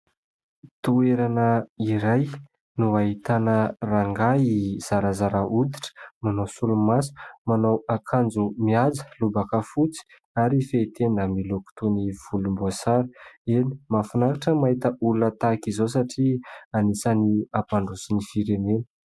toerana iray no hahitana rangahy zarazara hoditra ,manao solomaso, manao akanjo mihaja ,lobaka fotsy ary fehitenda miloko toy ny volom-boasary ,eny mahafinaritra mahita olona tahaka izao satria anisan'ny ampandroso ny firenena